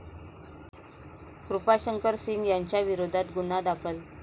कृपाशंकर सिंह यांच्या विरोधात गुन्हा दाखल